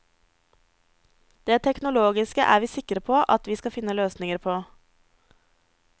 Det teknologiske er vi sikre på at vi skal finne løsninger på.